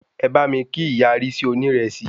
Ẹ bá mi kí ìyá Rísí oní ìrẹsì